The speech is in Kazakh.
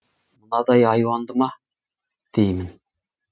мынадай аюанды ма деймін